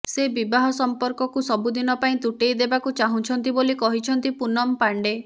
ସେ ବିବାହ ସମ୍ପର୍କକୁ ସବୁଦିନ ପାଇଁ ତୁଟେଇ ଦେବାକୁ ଚାହୁଁଛନ୍ତି ବୋଲି କହିଛନ୍ତି ପୁନମ ପାଣ୍ଡେ